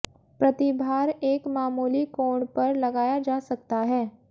प्रतिभार एक मामूली कोण पर लगाया जा सकता है